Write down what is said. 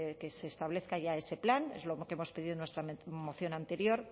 que se establezca ya ese plan es lo que hemos pedido en nuestra moción anterior